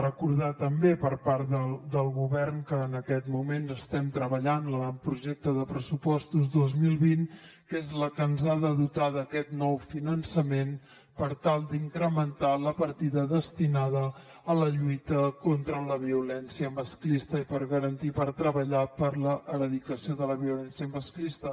recordar també per part del govern que en aquest moment estem treballant l’avantprojecte de pressupostos dos mil vint que és el que ens ha de dotar d’aquest nou finançament per tal d’incrementar la partida destinada a la lluita contra la violència masclista i per garantir i per treballar per l’erradicació de la violència masclista